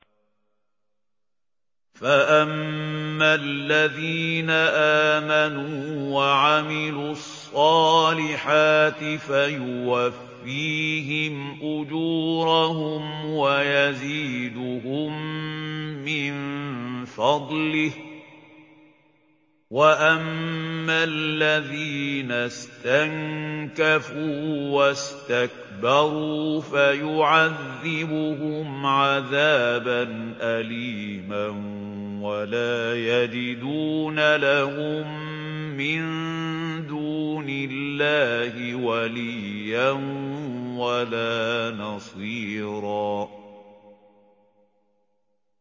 فَأَمَّا الَّذِينَ آمَنُوا وَعَمِلُوا الصَّالِحَاتِ فَيُوَفِّيهِمْ أُجُورَهُمْ وَيَزِيدُهُم مِّن فَضْلِهِ ۖ وَأَمَّا الَّذِينَ اسْتَنكَفُوا وَاسْتَكْبَرُوا فَيُعَذِّبُهُمْ عَذَابًا أَلِيمًا وَلَا يَجِدُونَ لَهُم مِّن دُونِ اللَّهِ وَلِيًّا وَلَا نَصِيرًا